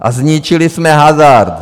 A zničili jsme hazard!